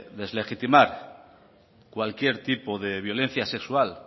de deslegitimar cualquier tipo de violencia sexual